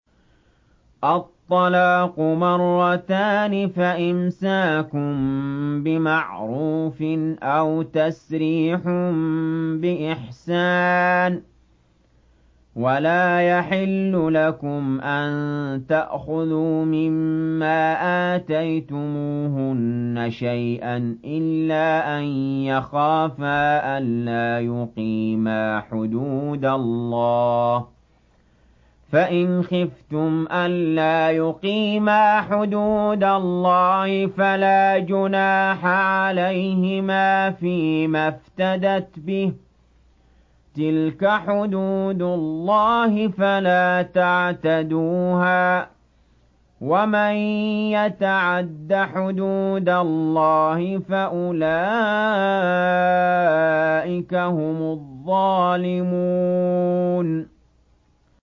الطَّلَاقُ مَرَّتَانِ ۖ فَإِمْسَاكٌ بِمَعْرُوفٍ أَوْ تَسْرِيحٌ بِإِحْسَانٍ ۗ وَلَا يَحِلُّ لَكُمْ أَن تَأْخُذُوا مِمَّا آتَيْتُمُوهُنَّ شَيْئًا إِلَّا أَن يَخَافَا أَلَّا يُقِيمَا حُدُودَ اللَّهِ ۖ فَإِنْ خِفْتُمْ أَلَّا يُقِيمَا حُدُودَ اللَّهِ فَلَا جُنَاحَ عَلَيْهِمَا فِيمَا افْتَدَتْ بِهِ ۗ تِلْكَ حُدُودُ اللَّهِ فَلَا تَعْتَدُوهَا ۚ وَمَن يَتَعَدَّ حُدُودَ اللَّهِ فَأُولَٰئِكَ هُمُ الظَّالِمُونَ